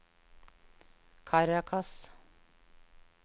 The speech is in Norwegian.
Caracas